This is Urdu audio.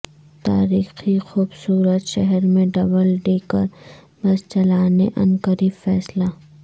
تاریخی خوبصورت شہر میں ڈبل ڈیکر بسس چلانے عنقریب فیصلہ